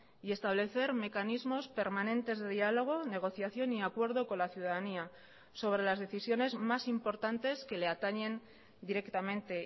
y establecer mecanismos permanentes de diálogo negociación y acuerdo con la ciudadanía sobre las decisiones más importantes que le atañen directamente